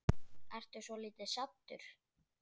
Ertu svolítið saddur?